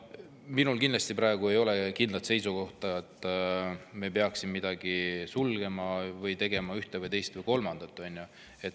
Minul praegu ei ole kindlat seisukohta, et me peaksime midagi sulgema või tegema ühte või teist või kolmandat.